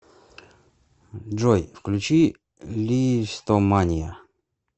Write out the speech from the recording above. джой включи листомания